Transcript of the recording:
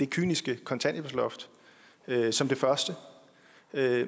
kyniske kontanthjælpsloft som det første